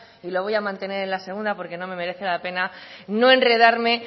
y lo voy a mantener en la segunda porque no me merece la pena no enredarme